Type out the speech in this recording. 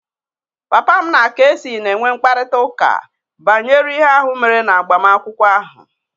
Papa m na kc na-enwe mkparịta ụka banyere ihe ahụ mere na agbamakwụkwọ ahụ